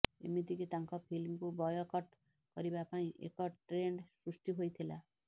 ଏମିତିକି ତାଙ୍କ ଫିଲ୍ମକୁ ବୟକଟ୍ କରିବା ପାଇଁ ଏକ ଟ୍ରେଣ୍ଡ ସୃଷ୍ଟି ହୋଇଥିଲା